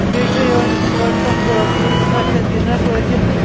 .بیٚیہِ چُھ أمِس لٔڑکس ا کرٛہنہِ سفید اِنر لٲگِتھ تہٕ